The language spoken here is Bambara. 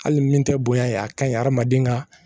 Hali min tɛ bonya ye a ka ɲi hadamaden ka